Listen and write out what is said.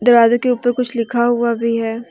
के ऊपर कुछ लिखा हुआ भी है।